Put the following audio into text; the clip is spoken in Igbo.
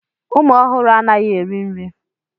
Ụmụ ọhụrụ anaghị eri nri.